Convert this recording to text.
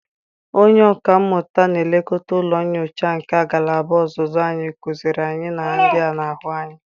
Onye ọka mmụta na-elekọta ụlọ nyocha nke agalaba ọzụzụ anyị kụziiri anyị ihe ndị a na-ahụ anya.